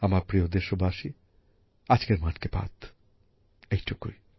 আমার প্রিয় দেশবাসী আজকের মন কি বাত এইটুকুই